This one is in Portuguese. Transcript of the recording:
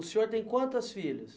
O senhor tem quantas filhas?